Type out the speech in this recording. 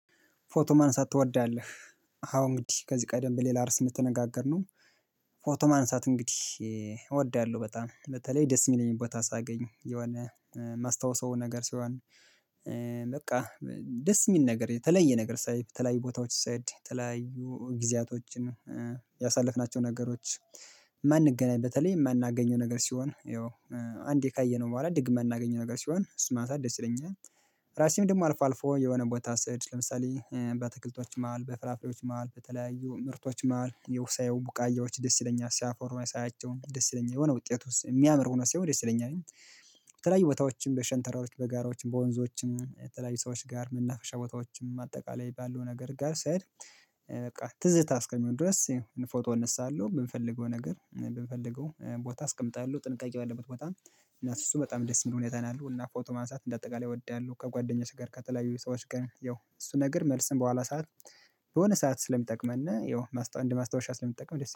ፎቶ ማንሳት ትወዳለህ? አዎ እንግዲህ ከዚህ ቀደም በሌላ እርስ የምትነጋገርነው ፎቶ ማንሳት እንግዲህ እወዳለሁ። በጣም ለተለይ ደስ የሚለኝበት ቦታ ሳገኝ የሆነ ማስታወሰው ነገር ሲሆን በቃ ደስ የሚል ነገር የተለየ ነገር ሳይ የተለያዩ ቦታዎች ስሄድ ተለያዩ ጊዜያቶችን ያሳለፍናቸው ነገሮች የማንገናኝ በተለይ የማናገኘው ነገር ሲሆን ያው አንዴ ካየነው በኋላ ደግመን ማናገኘው ነገር ሲሆን እሱን ማንሳት ደስ ይለኛል። ራሴን ደግሞ አልፎ አልፎ የሆነ ቦታ ስሄድ ለምሳሌ በአትክልቶች መሃል በፍራፍሬዎች መሃል በተለያዩ ምርቶች መሃል የውሳየው ቡቃያዎች ደስ ይለኛል ሲያፈሩ ሳያቸውም ደስ ይለኛል የሆነ ውጤት ውስጥ የሚያምር ሆኖ ሲሆን ደስ ይለኛል። በተለያይ ቦታዎችን በሸንተረሮች በጋራዎችም በወንዞችም በተለያዩ ሰዎች ጋር መናፈሻ ቦታዎችን ማጠቃለያ የባለው ነገር ጋር ሳይ በቃ ትዝታ እስከሚሆን ድረስ ፎቶ እነሳለሁ የምፈልገው ነገር የምፈልገው ቦታ አስቀምጣለሁ ጥንቃቄ ባለበት ቦታም እና እሱ በጣም ደስ የሚል ሁኔት ነው ያለው እና ፎቶ ማንሳት እንደ አጠቃላይ እወዳለሁ ከጓደኛሽ ጋር ከተለያዩ ሰዎች ጋር ያው እሱ ነገር መልሰን በኋላ ሰዓት የሆነ ሰዓት ስለሚጠቅመና ያው እንደ ማስታወሻ ስለሚጠቅም ደስ